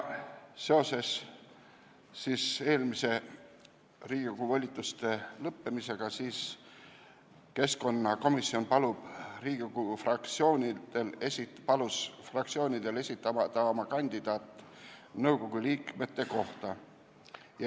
Seoses eelmise Riigikogu volituste lõppemisega palus keskkonnakomisjon Riigikogu fraktsioonidel esitada oma kandidaat nõukogu liikme kohale.